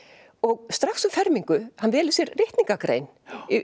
og strax um fermingu hann velur sér ritningargrein